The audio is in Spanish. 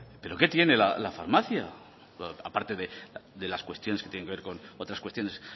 pero qué tiene la farmacia a parte de las cuestiones que tienen que ver con otras cuestiones